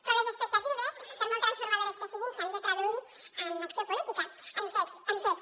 però les expectatives per molt transformadores que siguin s’han de traduir en acció política en fets